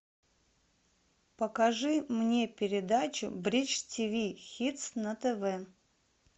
покажи мне передачу бридж тв хитс на тв